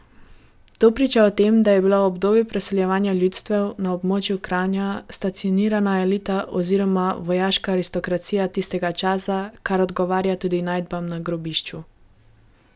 To priča o tem, da je bila v obdobju preseljevanja ljudstev na območju Kranja stacionirana elita oziroma vojaška aristokracija tistega časa, kar odgovarja tudi najdbam na grobišču.